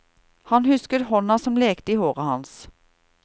Han husket hånda som lekte i håret hans.